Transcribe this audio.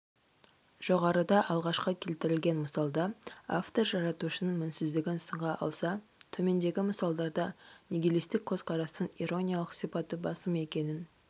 жоғарыда алғашқы келтірілген мысалда автор жаратушының мінсіздігін сынға алса төмендегі мысалдарда нигилистік көзқарастың ирониялық сипаты басым екенін